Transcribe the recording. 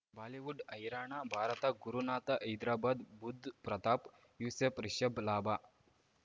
Bollywood ಹೈರಾಣ ಭಾರತ ಗುರುನಾಥ ಹೈದರಾಬಾದ್ ಬುಧ್ ಪ್ರತಾಪ್ ಯೂಸುಫ್ ರಿಷಬ್ ಲಾಭ